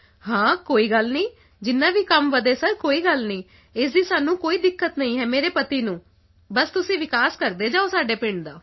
ਹਾਂ ਕੋਈ ਗੱਲ ਨਹੀਂ ਜਿੰਨਾ ਵੀ ਕੰਮ ਵਧੇ ਸਰ ਕੋਈ ਗੱਲ ਨਹੀਂ ਇਸ ਦੀ ਸਾਨੂੰ ਕੋਈ ਦਿੱਕਤ ਨਹੀਂ ਹੈ ਮੇਰੇ ਪਤੀ ਨੂੰ ਬਸ ਤੁਸੀਂ ਵਿਕਾਸ ਕਰਦੇ ਜਾਓ ਸਾਡੇ ਪਿੰਡ ਦਾ